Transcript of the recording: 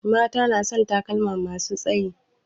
Mata na son takalma masu tsayi